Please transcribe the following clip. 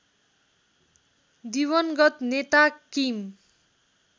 दिवंगत नेता किम